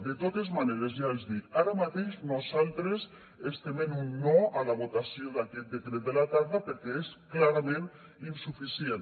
de totes maneres ja els dic ara mateix nosaltres estem en un no a la votació d’aquest decret de la tarda perquè és clarament insuficient